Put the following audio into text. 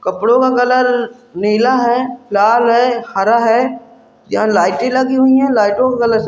कपड़ों का कलर नीला है लाल है हरा है यहा लाइटे लगी हुई है लाइटों का कलर --